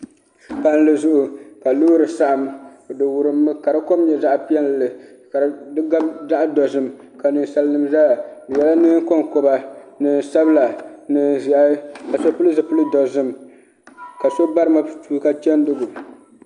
Palli zuɣu ka loori saɣam di wurimmi ka di kom nyɛ zaɣ piɛlli ka di gabi zaɣ dozim ka ninsal nim ʒɛya bi yɛla neen konkoba neen sabila neen ʒiɛhi ni so pili zipili dozim ka so bari matuuka chɛndigu